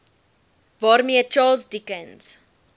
waarmee charles dickens